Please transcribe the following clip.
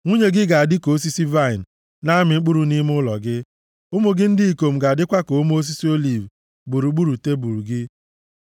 Nwunye gị ga-adị ka osisi vaịnị na-amị mkpụrụ nʼime ụlọ gị; ụmụ gị ndị ikom ga-adịkwa ka ome osisi oliv gburugburu tebul gị.